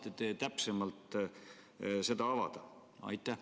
Kas saate täpsemalt seda avada?